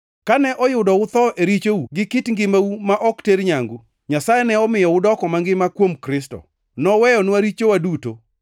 Kane uyudo utho e richou gi kit ngimau ma ok ter nyangu, Nyasaye ne omiyo udoko mangima kuom Kristo. Noweyonwa richowa duto,